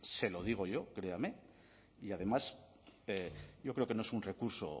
se lo digo créame y además yo creo que no es un recurso